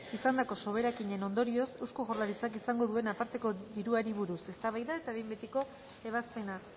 izandako soberakinaren ondorioz eusko jaurlaritzak izango duen aparteko diruari buruz eztabaida eta behin betiko ebazpena